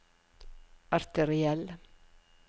arteriell